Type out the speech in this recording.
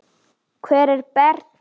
Hvar er Berti?